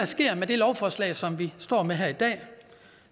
sker med det lovforslag som vi står med her i dag